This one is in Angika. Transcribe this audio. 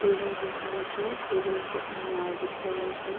टेबुल दिख रहल छै टेबुल पे अनार दिख रहल छै।